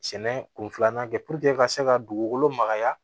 Sɛnɛ kun filanan kɛ ka se ka dugukolo magaya